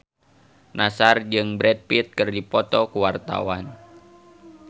Nassar jeung Brad Pitt keur dipoto ku wartawan